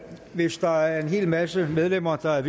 hvis der er en hel masse medlemmer der er